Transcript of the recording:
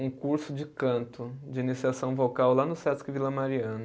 um curso de canto, de iniciação vocal, lá no Sesc Vila Mariana.